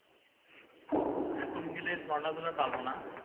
এখন গেলে ঝর্ণা গুলো পাবনা।